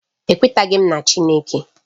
Ekwetaghị m na Chineke